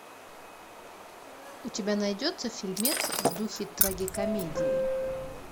у тебя найдется фильмец в духе трагикомедии